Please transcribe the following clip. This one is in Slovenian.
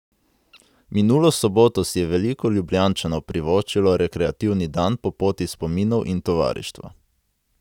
Minulo soboto si je veliko Ljubljančanov privoščilo rekreativni dan po Poti spominov in tovarištva.